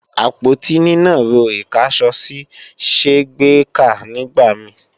Àpótí nínàró ìkáṣọsí ṣé gbèéká nígbà mi